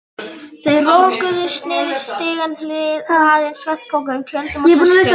Þau roguðust niður stigana, hlaðin svefnpokum, tjöldum og töskum.